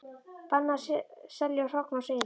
Bannað að selja hrogn og seiði